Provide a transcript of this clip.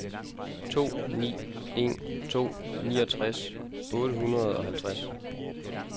to ni en to niogtres otte hundrede og halvtreds